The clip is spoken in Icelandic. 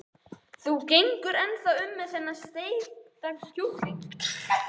Þú gengur ennþá um með þennan steikta kjúkling.